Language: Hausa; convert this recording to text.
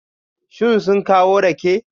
Shin sun kawo rake?